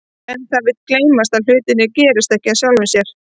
En það vill gleymast að hlutirnir gerast ekki af sjálfu sér.